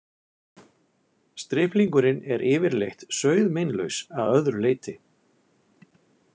Striplingurinn er yfirleitt sauðmeinlaus að öðru leyti.